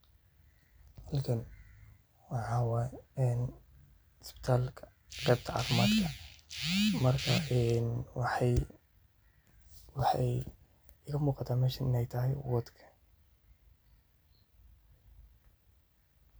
Halkan waxa waye hospitalka qeebta caafimadka waxay iga muuqata meeshan inay tahay ward.